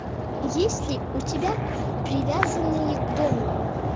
есть ли у тебя привязанные к дому